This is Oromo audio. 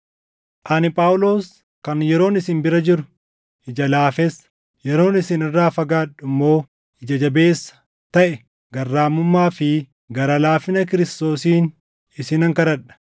Ani Phaawulos kan yeroon isin bira jiru “Ija laafessa” yeroon isin irraa fagaadhu immoo “Ija jabeessa” taʼe garraamummaa fi gara laafina Kiristoosiin isinan kadhadha!